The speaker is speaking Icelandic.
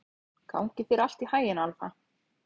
Gangi þér allt í haginn, Alfa.